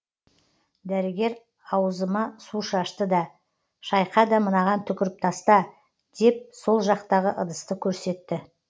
дәрігер ауызыма су шашты да шайқа да мынаған түкіріп таста деп сол жақтағы ыдысты көрсетті